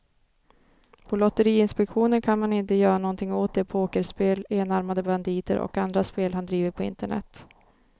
På lotteriinspektionen kan man inte göra någonting åt de pokerspel, enarmade banditer och andra spel han driver på internet.